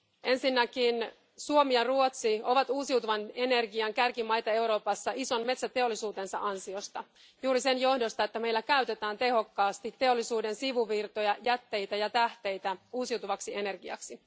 Ensinnäkin Suomi ja Ruotsi ovat uusiutuvan energian kärkimaita Euroopassa ison metsäteollisuutensa ansiosta juuri sen johdosta, että meillä käytetään tehokkaasti teollisuuden sivuvirtoja, jätteitä ja tähteitä uusiutuvaksi energiaksi.